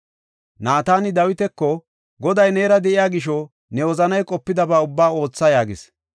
Naatani Dawitako, “Goday neera de7iya gisho ne wozanay qopidaba ubbaa ootha” yaagis.